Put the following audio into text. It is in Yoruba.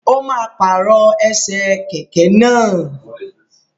O máa pàrọ̀ ẹsẹ̀ kẹ̀kẹ́ náà.